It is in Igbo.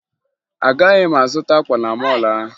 Agaghị m azụta akwa na mọọlụ ahụ